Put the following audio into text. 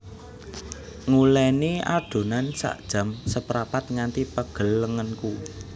Nguleni adonan sak jam seprapat nganti pegel lengenku